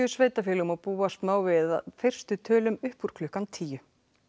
sveitarfélögum og búast má við fyrstu tölum upp úr klukkan tíu